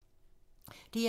DR2